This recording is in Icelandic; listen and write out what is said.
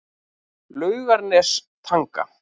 Laugarnestanga